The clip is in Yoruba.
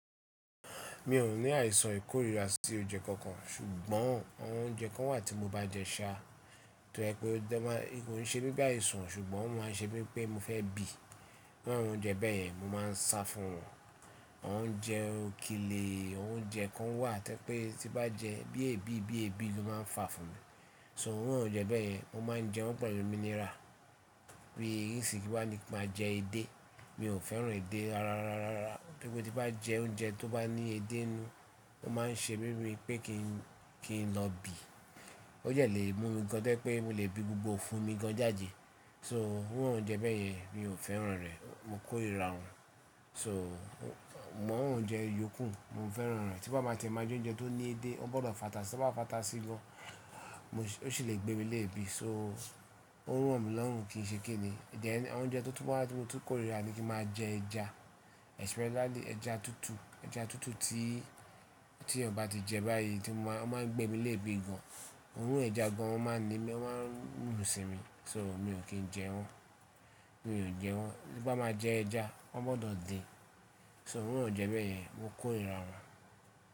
Mi ò ní àìsàn ìkórira sí oúnjẹ kankan ṣùgbọ́n àwọn oúnjẹ kan wà tí mo bá jẹ ṣa tó jẹ pé ó máa ko ṣe wipe àìsàn ṣùgbọ́n wọ́n máa ń ṣe mí pé mo fẹ́ bì. Bí àwọn oúnjẹ bẹ́ẹ̀ yẹn mo máa ń sa fún wọn. Àwọn oúnjẹ okile, àwọn oúnjẹ kan wà tí ẹ pé tí bá jẹ bí ẹ́ bí bí ẹ́ bí ló máa ń fà fún mi. So irú àwọn oúnjẹ bẹ́ẹ̀ yẹn mo máa ń jẹ wọ́n pẹ̀lú minira. Bí isìnyi kí wá ní kí máa jẹ edé. Mi ò fẹ́ràn edé rara rara rara. Gẹ́gẹ́ bí tí bá jẹ oúnjẹ tó bá ní edé ninú, ó máa ń ṣe mí mí pé kí n kí n lọ bì. Ó yẹ lé mi gan an to jẹ́ pé mo lè bí gbogbo ifún mi gan an jáde. So irú àwọn oúnjẹ bẹ́ẹ̀ yẹn mi ò fẹ́ràn rẹ̀. Mo kórira wọ́n. So àwọn oúnjẹ iyókù mo fẹ́ràn wọ́n. Tí bá máa tẹ ẹ̀ máa jẹ oúnjẹ tó ní edé ó gbọ́dọ̀ fàtà si, tí wọ́n bá fàtà sí i gan an ó sì lè gbé mi léèbí. So ó ń ràn mí lọ́hùn kí n ṣe kín ni. Then àwọn oúnjẹ tí mo tún kórira ni kí máa jẹ ẹja especially ẹja tútù. Ẹja tútù tí tí èèyàn bá ti jẹ báyìí tí máa ń gbé mi léèbí gan an. Òorun ẹja gan an o máa ń ni o máa ń run sí mi. So mi ò kí ń jẹ wọ́n. Mi ò jẹ wọ́n. Bí bá máa jẹ ẹja, wọ́n gbọ́dọ̀ din. So àwọn oúnjẹ bẹ́ẹ̀ yẹn mo kórira wọ́n.